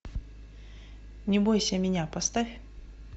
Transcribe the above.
не бойся меня поставь